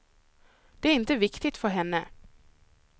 Det är inte viktigt för henne.